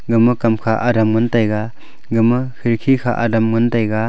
gama kam kha adam ngan taiga ga ma kherki kha adam ngan taiga.